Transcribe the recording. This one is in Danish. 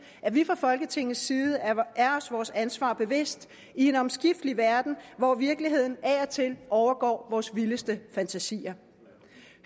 at vi fra folketingets side er os vores ansvar bevidst i en omskiftelig verden hvor virkeligheden af og til overgår vores vildeste fantasier